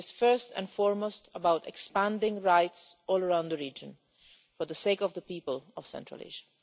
It is, first and foremost, about expanding rights all around the region for the sake of the people of Central Asia.